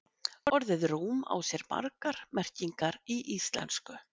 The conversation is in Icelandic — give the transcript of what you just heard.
Orðið rúm á sér margar merkingar í íslensku.